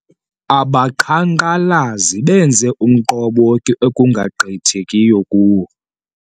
Abaqhankqalazi benze umqobo ekungagqithekiyo kuwo.